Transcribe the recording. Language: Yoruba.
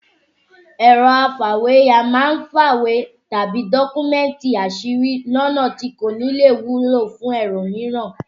Ẹ̀rọ afàwéya máa ń fa àwọn ìwé tàbí dọ́kúmẹ̀tì àṣírí lọ́nà tí kò nílè wúlò fún ẹlòmíràn